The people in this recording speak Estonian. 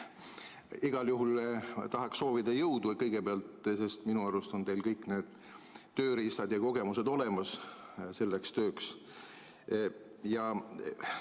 Igal juhul tahaksin soovida kõigepealt jõudu, sest minu arust on teil kõik tööriistad ja kogemused selleks tööks olemas.